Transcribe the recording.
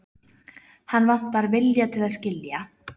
Hann vantar viljann til að skilja.